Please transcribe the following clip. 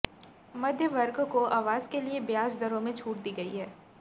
मध्यम वर्ग को आवास के लिये ब्याज दरों में छूट दी गई है